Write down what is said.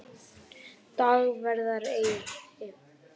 Dagverðareyri